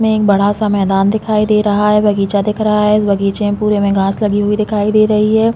उसमे एक बड़ा सा मैदान दिखई दे रहा है बगीचा दिख रहा है बग़ीचा में पुरे में घाँस लगी हुई दिखाई दे रही है।